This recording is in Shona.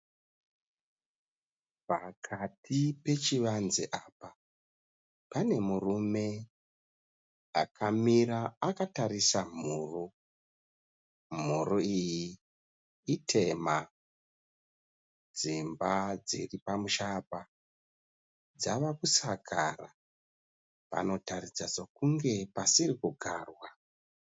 Pakati pechivanze apa, pane murume akamira akatarisa mhuru, mhuru iyi itema. Dzimba dziri pamusha apa dzava kusakara, panotaridza sekunge pasiri kugarwa.